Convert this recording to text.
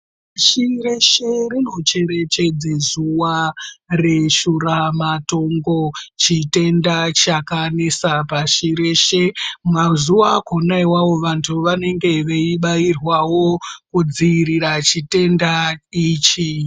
Pashi reshe rinocherechedze zuva reshura matongo. Chitenda chakanesa pashi reshe mazuva akona ivavo vantu vanenge veibairwavo kudzirira chitenda ichi.